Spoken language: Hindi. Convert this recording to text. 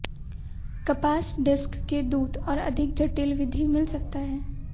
कपास डिस्क के दूत और अधिक जटिल विधि मिल सकता है